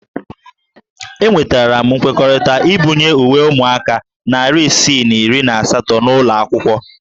Enwetara m nkwekọrịta ibunye uwe ụmụaka narị isii na iri na asatọ n'ụlọ akwụkwọ